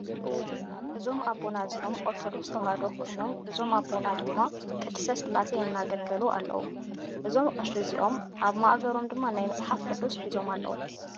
እዞም ኣቦና እዚኦም ኦርተዶክስ ተዋህዶ ኮይኖም እዞም ኣቦ ድማ ቅስርዓተ ቅዳሴ እንዳኣገልገሉ ኣለዉ። እዞም ቀሺ እዚኦም ኣብ ማእገሮም ድማ ናይ መፅሓፍ ቁዱስ ሒዞም ኣለዉ።